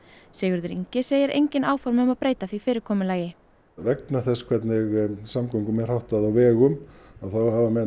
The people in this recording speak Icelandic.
Sigurður Ingi segir engin áform um að breyta því fyrirkomulagi vegna þess hvernig samgöngum er háttað á vegum þá hafa menn